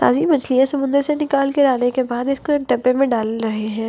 ताजी मछलियां समुंदर से निकाल के जाने के बाद इसको एक डब्बे में डाल रहे हैं।